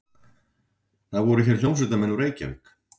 Það voru hér hljómsveitarmenn úr Reykjavík.